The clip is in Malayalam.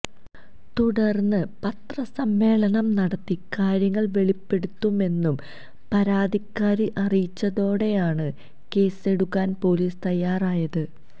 തുടര്ന്ന് പത്രസമ്മേളനം നടത്തി കാര്യങ്ങള് വെളിപ്പെടുത്തുമെന്നു പരാതിക്കാരി അറിയിച്ചതോടെയാണ് കേസെടുക്കാന് പോലീസ് തയ്യാറായത്